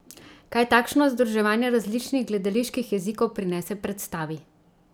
Kaj takšno združevanje različnih gledaliških jezikov prinese predstavi?